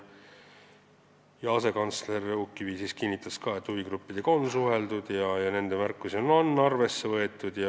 Asekantsler Uukkivi kinnitas, et huvigruppidega on suheldud ja nende märkusi on arvesse võetud.